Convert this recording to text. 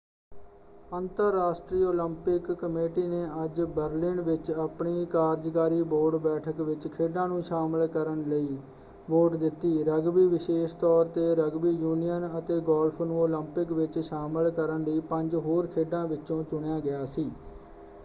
ਅੰਤਰਰਾਸ਼ਟਰੀ Olympic committee ਨੇ ਅੱਜ ਬਰਲਿਨ ਵਿੱਚ ਆਪਣੀ ਕਾਰਜਕਾਰੀ ਬੋਰਡ ਬੈਠਕ ਵਿੱਚ ਖੇਡਾਂ ਨੂੰ ਸ਼ਾਮਲ ਕਰਨ ਲਈ ਵੋਟ ਦਿੱਤੀ। ਰਗਬੀ ਵਿਸ਼ੇਸ਼ ਤੌਰ ‘ਤੇ ਰਗਬੀ ਯੂਨੀਅਨ ਅਤੇ ਗੋਲਫ ਨੂੰ ਓਲੰਪਿਕ ਵਿੱਚ ਸ਼ਾਮਲ ਕਰਨ ਲਈ ਪੰਜ ਹੋਰ ਖੇਡਾਂ ਵਿਚੋਂ ਚੁਣਿਆ ਗਿਆ ਸੀ।